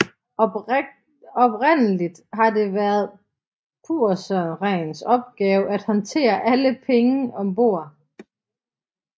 Oprindeligt har det været purserens opgave at håndtere alle penge ombord